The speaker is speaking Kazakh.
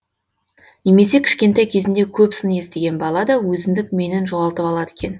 немесе кішкентай кезінде көп сын естіген бала да өзіндік менін жоғалтып алады екен